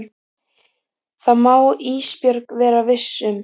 Það má Ísbjörg vera viss um.